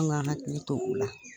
An' ŋ'an hakili to o la.